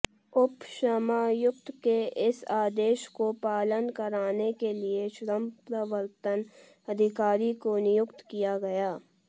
उपश्रमायुक्त के इस आदेश को पालन कराने के लिए श्रमप्रवर्तन अधिकारी को नियुक्त किया गया